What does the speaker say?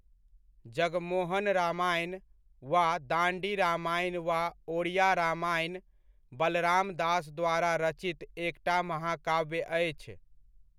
जगमोहन रामायण वा दाण्डि रामायण वा ओड़िआ रामायण बलराम दास द्वारा रचित एकटा महाकाव्य अछि।